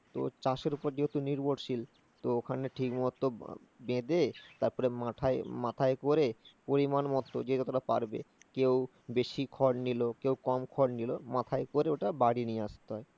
তো চাষ এর উপর যেহেতু নির্ভরশীল, তো ওখানে ঠিকমতো বেধে, তারপরে মাথায় করে পরিমাণমতো যে যতটা পারবে, কেউ বেশি খড় নিলো, কেউ কম খড় নিলো, মাথায় করে ওটা বাড়ি নিয়ে আসতে হয়